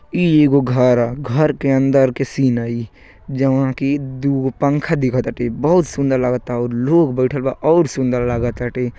ई एगो घर ह। घर के अंदर के सीन ह ई जवन की दूगो पंख दिखा ताटे। बहुत सुंदर लागता अउर लोग बईठल बा अउर सुंदर लाग ताटे।